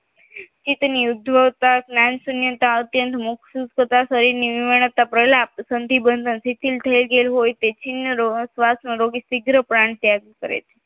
ચિતની ઉદ્ભવતા જ્ઞાન સંવેદના અન્ય મુખ્યત્વે શરીરની વિરમણતા પ્રહલાપ સંધિબંધમાં જટિલ થયેલું હોય તે છિન્નર શ્વાસ રોગી શિગ્ર પ્રાણ ત્યાગ કરે છે